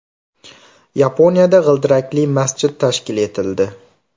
Yaponiyada g‘ildirakli masjid tashkil etildi.